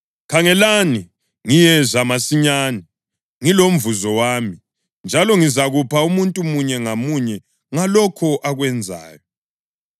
“Khangelani, ngiyeza masinyane! Ngilomvuzo wami, njalo ngizakupha umuntu munye ngamunye ngalokho akwenzayo.